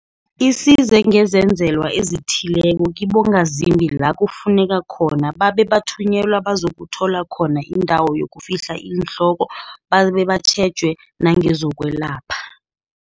isize ngezenzelwa ezithileko kibongazimbi la kufuneka khona babe bathunyelwela bazakuthola khona indawo yokufihla iinhloko babe batjhejwe nangezokwelapha.